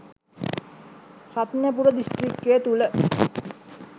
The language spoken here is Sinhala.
රත්නපුර දිස්ත්‍රික්කය තුළ